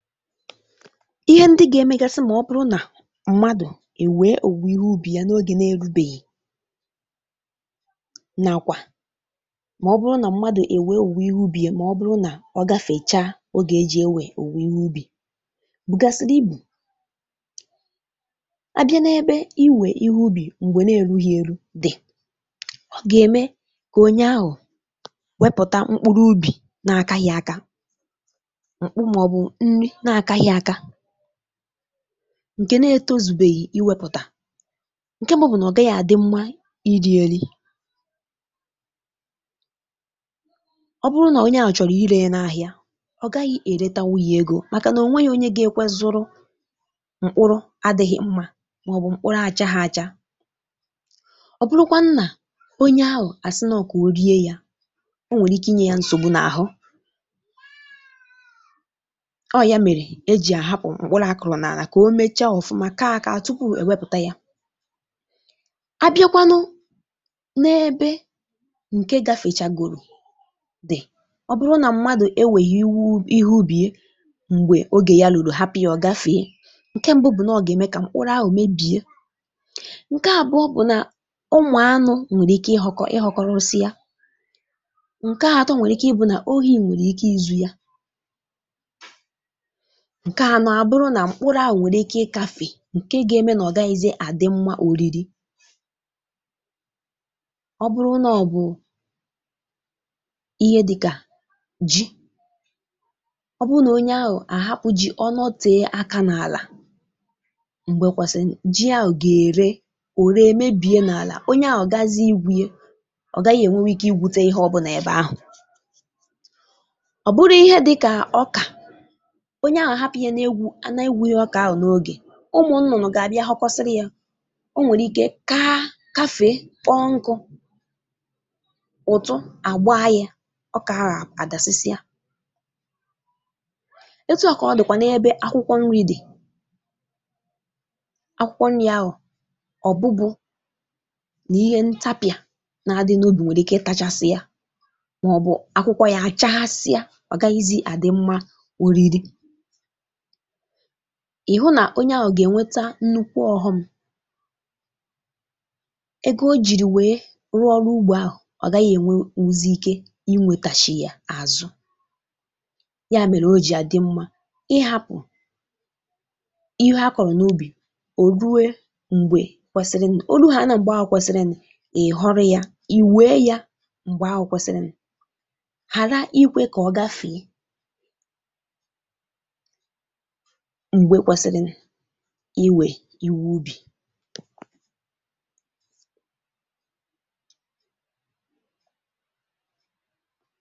Ihe ndị ga-emegasị màọbụrụ nà mmadụ èwe òwùwe ihe ubi ya n’oge na-erubeghị nàkwà màọbụrụ nà mmadụ èwe òwùwe ihe ubi ya màọbụrụ nà ọ gafèchaa oge ejì èwè òwùwe ihe ubi bụgàsịrị ibụ. Abịa n’ebe iwè ihe ubi m̀gbè na-erughi eru dị, ọ gà-ème kà onye ahụ wepụta mkpụrụ ubi na-akaghị aka, mkpụ màọbụ nri na-akaghị aka ǹkè na-etozùbeghì iwèpụta; ǹkè mbụ bụ nà ọ gaghị àdị mma irieri. Ọ bụrụ na onye ahụ chọrọ ile ya n'ahịa, ọ gaghị eretanwu ya ego maka na onweghị onye gakwe zuru mkpụrụ adịghị mma màọbụ mkpụrụ achagha acha, ọ bụrụkwanụ na onye ahụ a si nọ ka orie ya, onwere ike inye ya nsogbu na-ahụ, o ya mere ejì àhapụ mkpụrụ akụrụ n’àlà kà o mecha ọfụma, kaa aka tupu èwepụta ya. Abịakwanụ n’ebe ǹkè gafèchagòrò dị, ọ bụrụ nà mmadụ ewèghị ihe, ihe ubìe m̀gbè ogè ya lụrụ, hapụ ya ọ gafèe, ǹkè mbụ bụ nà ọ gà-ème kà mkpụrụ ahụ mebìe; ǹkè àbụọ bụ nà ụmụanụ nwèrè ike ị họkọ, ị họkọrọsị ya; ǹkè atọ nwèrè ike ị bụ nà oyi nwèrè ike izù ya; ǹkè anọ àbụrụ nà mkpụrụ ahụ nwèrè ike ịkafè ǹkè ga-eme nà ọ gaghịzị àdị mma òriri. Ọ bụrụ nọọ bụ ihe dịkà ji, ọ bụ nà onye ahụ àhapụ ji, ọ nọtè aka n’àlà m̀gbè kwàsìnì, ji ahụ gà-ère, òre mebìe n’àlà, onye ahụ gazị igwùe, ọ gàghị ènwewe ike igwute ihe ọbụnà ebe ahụ. Ọ bụrụ ihe dịkà ọkà, onye ahụ hapụ a nà-egwu, nà-egwuro ọkà ahụ n’ogè, ụmụ nnụnụ gà-àbịa họkọsịrị ya; ọ nwèrè ike kaa kafe, kpọọ nkụ, ụtụ àgba ya; ọkà ahụ àdàsịsịa. Etu a kà ọ dịkwà n’ebe akwụkwọ nri dị, akwụkwọ nri ahụ, ọ bụbụ nà ihe ntapịà nà-adị n’ubi nwèrè ike tachasị ya màọbụ akwụkwọ ya àchaghasịa; ọgàghịzị àdị mma oriri. Ihụ nà onye ahụ gà-ènweta nnukwu ọhụm, ego o jìrì wèe rụọ ọrụ ụgbọ ahụ; ọ gaghị ènwe wuzi ike inwètàchi ya àzụ, ya mèrè o jì dị mma ịhapụ ihe akọrọ n’ubì ò ruwe m̀gbè kwesirini, o ruha a nà m̀gbè ahụ kwesirini, ị họrị ya, ì wèe ya m̀gbè ahụ kwesirini ghara ikwè kà ọ gafèe mgbe kwèsịrịni ịwè iwu ubì.